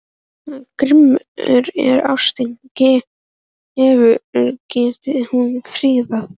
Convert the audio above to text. Grimm er ástin, geithafur gerir hún fríðan.